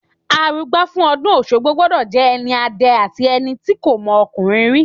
Àrúgbà fún ọ̀dún oṣogbo gbọdọ jẹ ẹni àdẹ àtí ẹniti kọ mọkúnrìn ri